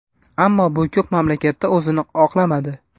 Ammo bu ko‘p mamlakatda o‘zini oqlamadi.